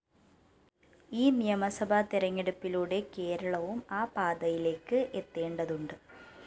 ഈ നിയമസഭാ തെരഞ്ഞെടുപ്പിലൂടെ കേരളവും ആ പാതയിലേക്ക് എത്തേണ്ടതുണ്ട്